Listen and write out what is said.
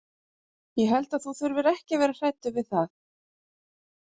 Ég held þú þurfir ekki að vera hræddur við það.